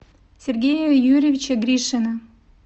сергея юрьевича гришина